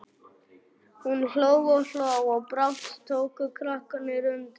Hún hló og hló og brátt tóku krakkarnir undir.